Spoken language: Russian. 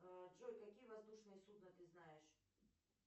джой какие воздушные судна ты знаешь